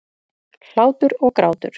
Hlátur og grátur.